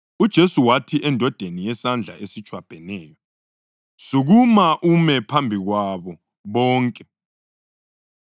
UJesu wathi endodeni yesandla esitshwabheneyo, “Sukuma ume phambi kwabo bonke.”